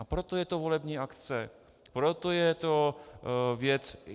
A proto je to volební akce, proto je to věc...